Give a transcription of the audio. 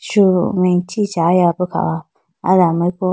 su me chichaya bo kha ho aye do amariku.